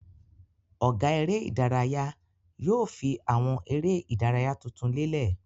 Ọ̀gá eré-idárayá yóò fi àwọn eré-idárayá tuntun lélẹ̀.